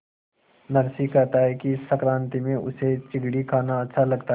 नरसी कहता है कि संक्रांति में उसे चिगडी खाना अच्छा लगता है